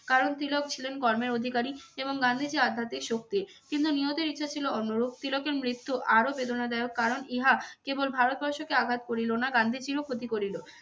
কারণ তিলক ছিলেন কর্মের অধিকারী এবং গান্ধীজী আধ্যাত্মিক শক্তির কিন্তু নিয়তির ইচ্ছা ছিল অন্যরূপ তিলকের মৃত্যু আরও বেদনাদায়ক কারণ ইহা কেবল ভারতবর্ষকে আঘাত করিল না গান্ধীজীরও ক্ষতি করিলো।